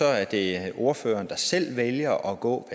er det ordføreren der selv vælger at gå